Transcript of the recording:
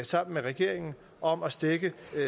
sammen med regeringen om at stække